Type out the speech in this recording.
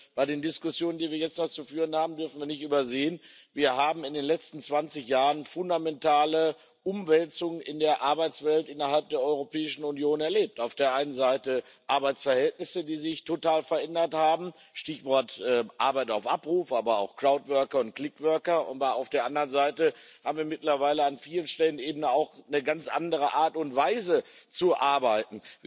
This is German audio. Bei den Diskussionen, die wir jetzt noch zu führen haben, dürfen wir nicht übersehen, dass wir in den letzten 20 Jahren fundamentale Umwälzungen in der Arbeitswelt innerhalb der Europäischen Union erlebt haben auf der einen Seite Arbeitsverhältnisse, die sich total verändert haben Stichwort Arbeit auf Abruf, aber auch crowd worker und click worker aber auf der anderen Seite haben wir mittlerweile an vielen Stellen eben auch eine ganz andere Art und Weise zu arbeiten.